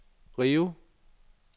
Rio